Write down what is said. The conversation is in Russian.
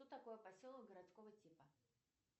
что такое поселок городского типа